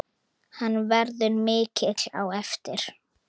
Hann verður mikill á eftir.